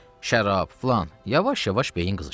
Şərab, filan, yavaş-yavaş beyin qızışdı.